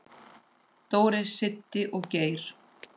Dóri, Siddi og Geir.